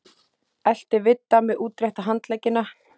Elti Vidda með útrétta handleggina.